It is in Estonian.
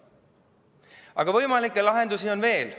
Aga võimalikke lahendusi on veel.